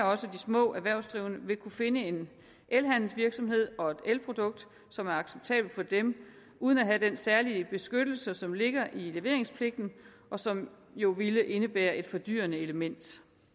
også de små erhvervsdrivende vil kunne finde en elhandelsvirksomhed og et elprodukt som er acceptabelt for dem uden at have den særlige beskyttelse som ligger i leveringspligten og som jo ville indebære et fordyrende element